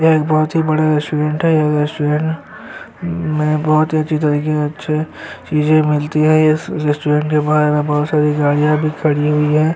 यहाँ एक बहुत ही बड़ा रेस्टुरेंट है यह रेस्टुरेंट में बहुत अच्छी टर्की चीजे मिलते है इस रेस्टुरेंट के बाहर बहोत सारी गाड़िया भी खड़ी हुई है।